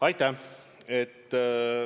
Aitäh!